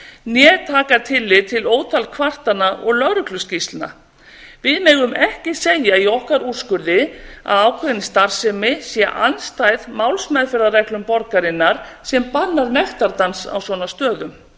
né taka tillit til ótal kvartana og lögregluskýrslna við megum ekki segja í okkar úrskurði að ákveðin starfsemi sé andstæð málsmeðferðarreglum borgarinnar sem bannar nektardans á svona stöðum